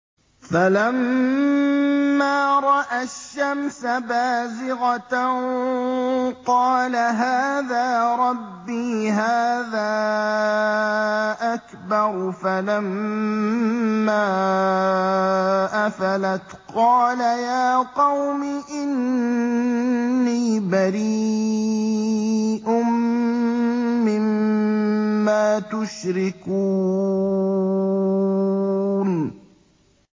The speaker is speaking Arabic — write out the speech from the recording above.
فَلَمَّا رَأَى الشَّمْسَ بَازِغَةً قَالَ هَٰذَا رَبِّي هَٰذَا أَكْبَرُ ۖ فَلَمَّا أَفَلَتْ قَالَ يَا قَوْمِ إِنِّي بَرِيءٌ مِّمَّا تُشْرِكُونَ